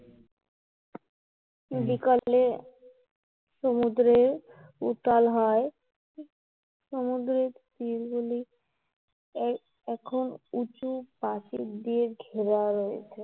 বিকালে সমুদ্রে উতাল হয় সমুদ্রের তীর গুলি এখন উচু প্রাচীর দিয়ে ঘেরা রয়েছে